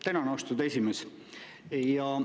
Tänan, austatud esimees!